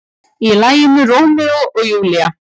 Í laginu Rómeó og Júlía.